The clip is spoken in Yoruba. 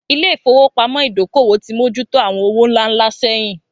Ilé ìfowópamọ́ Ìdókòwò ti mójú tó àwọn owó ńlá ńlá sẹ́yìn